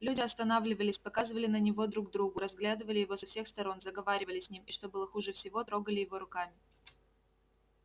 люди останавливались показывали на него друг другу разглядывали его со всех сторон заговаривали с ним и что было хуже всего трогали его руками